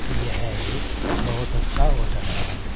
यह एक बहोत अच्छा होटल है।